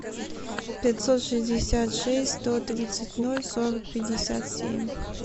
пятьсот шестьдесят шесть сто тридцать ноль сорок пятьдесят семь